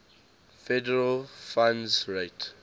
federal funds rate